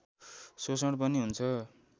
शोषण पनि हुन्छ